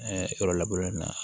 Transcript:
yɔrɔ laburelen na